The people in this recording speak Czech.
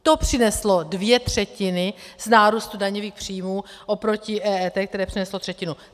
To přineslo dvě třetiny z nárůstu daňových příjmů oproti EET, které přineslo třetinu.